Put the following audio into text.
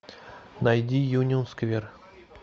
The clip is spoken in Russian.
найди юнион сквер